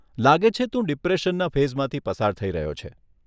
લાગે છે તું ડિપ્રેશનના ફેઝમાંથી પસાર થઈ રહ્યો છે.